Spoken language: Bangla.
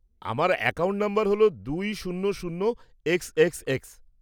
আমার অ্যাকাউন্ট নম্বর হল দুই শূন্য শূন্য এক্স এক্স এক্স।